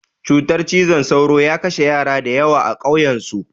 Cutar cizon sauro ya kashe yara da yawa a ƙauyan su